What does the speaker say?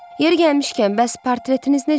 Yeri gəlmişkən, bəs portretiniz necə oldu?